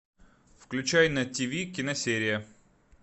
включай на тв киносерия